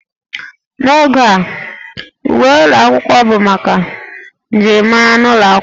N'oge a, uwe ụlọ akwụkwọ bụ maka njirimara n'ụlọ akwụkwọ